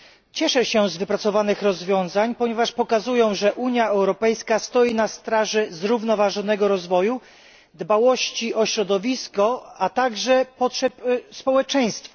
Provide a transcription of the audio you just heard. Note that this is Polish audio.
Cieszę się z wypracowanych rozwiązań, ponieważ pokazują, że Unia Europejska stoi na straży zrównoważonego rozwoju, dbałości o środowisko, a także potrzeb społeczeństwa.